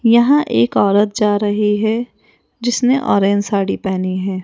यहां एक औरत जा रही है जिसने ऑरेंज साड़ी पहनी है।